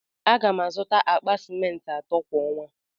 A ga m azụta akpa ciment ato kwa ọnwa.